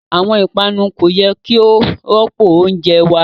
Awọn ipanu ko yẹ ki o rọpo ounjẹ wa